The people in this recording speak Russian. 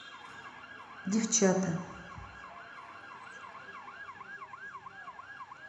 девчата